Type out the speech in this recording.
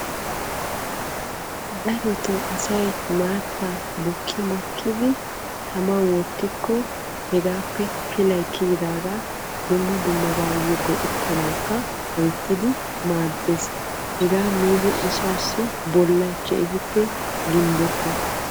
Darotto asay maatta bukki makkiddi taman wottikko hegaappe pilay kiyidaaga dumma dummabayo go'ettanawu loyttiddi maades hegaa miiddi asaassi bollay ginbbetees.